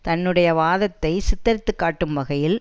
தன்னுடைய வாதத்தை சித்தரித்துக்காட்டும் வகையில்